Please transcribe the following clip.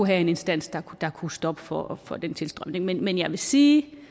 have en instans der kunne stoppe for for den tilstrømning men jeg vil sige